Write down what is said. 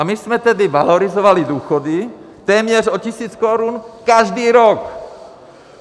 A my jsme tedy valorizovali důchody téměř o tisíc korun každý rok.